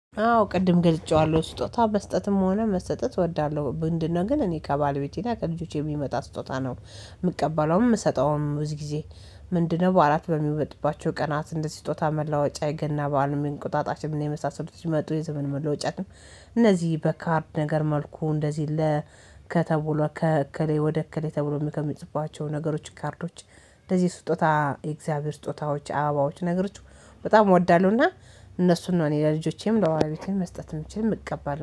አዎ ቅድም ገልጬዋለሁ ስጦታ መስጠትም ሆነ መሰጠት እወዳለሁ ምንድነው ግን እኔ ከባለቤቴ እና ከልጆቼ የሚመጣ ስጦታ ነው የምቀበለውም የምሰጠውም ብዙ ጊዜ፤ ምንድነው በዓላት በሚወጡባቸው ቀናት እንደዚህ ስጦታ መለዋወጫ የገና በዓል እንቁጣጣችም የመሳሰሉት ሲመጡ የዘመን መለወጫም እነዚህ በካርድ ነገር መልኩ እንደዚህ ለ ከተብሎ ከእከሌ ወደ እከሌ ተብሎ ከሚጽፉባቸው ነገሮች ካርዶች እንደዚህ ስጦታ የእግዚአብሔር ስጦታዎች አባባዎች ነገሮች በጣም እወዳለሁና እነሱን ነው እኔ ለልጆቼም ለባለቤቴም መስጠት የምችል የምቀበልም።